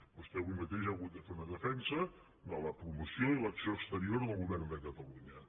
vostè avui mateix ha hagut de fer una defensa de la promoció i l’acció exterior del govern de catalunya